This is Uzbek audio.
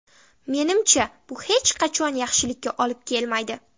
Menimcha bu hech qachon yaxshilikka olib kelmaydi.